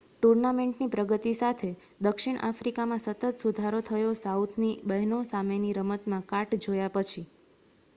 ટૂર્નામેન્ટની પ્રગતિ સાથે દક્ષિણ આફ્રિકામાં સતત સુધારો થયો સાઉથની બહેનો સામેની રમતમાં કાટ જોયા પછી